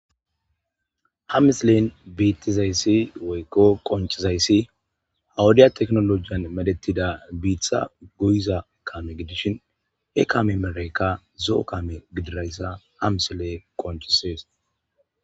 ha misilen biittizayssi woykko qoncizayssi ha wodiya teknolojiyan medetida biitha guyiza kame gidishin he kame meraykka zo7o kame gidirayssa ha misile qonchisees